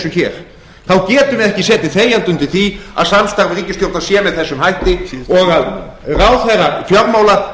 hér þá getum við ekki setið þegjandi undir því að samstarf innan ríkisstjórnar sé með þessum hætti og ráðherrar fjármála